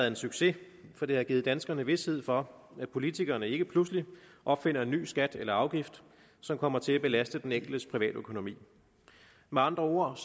en succes for det har givet danskerne vished for at politikerne ikke pludselig opfinder en ny skat eller afgift som kommer til at belaste den enkeltes private økonomi med andre ord